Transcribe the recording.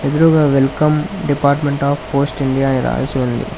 ఎదురుగా welcome department of posts India అని రాసి ఉంది